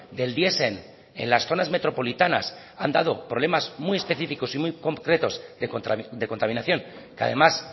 del diesel en las zonas metropolitanas han dado problemas muy específicos y muy concretos de contaminación que además